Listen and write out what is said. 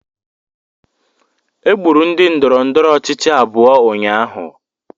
Egburu ndị ndọrọndọrọ ọchịchị abụọ ụnyaahụ